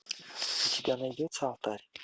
у тебя найдется алтарь